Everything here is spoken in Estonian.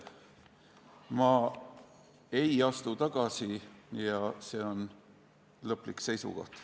Ma ei astu tagasi ja see on lõplik seisukoht.